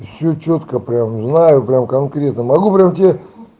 всё чётко прям знаю прямо конкретно могу прям тебе